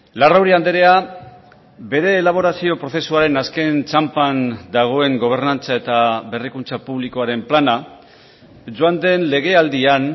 larrauri andrea bere elaborazio prozesuaren azken txanpan dagoen gobernantza eta berrikuntza publikoaren plana joan den legealdian